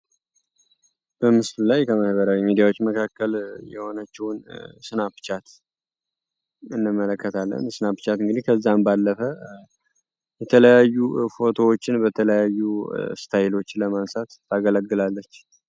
በምስል ላይ ከማህበረ የሚዲያዎች መካከል የሆነችውን ስናፕቻት እንመለከት አለን ስናፕቻት እንግዲህ ከዛም ባለፈ የተለያዩ ፎቶዎችን በተለያዩ ስታይሎችን ለማንሳት ታገለግላለች፡፡